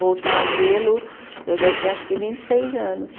Voltar a vê-lo, eu já tinha acho que vinte e seis anos.